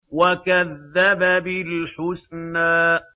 وَكَذَّبَ بِالْحُسْنَىٰ